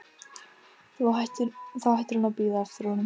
Þá hættir hún að bíða eftir honum.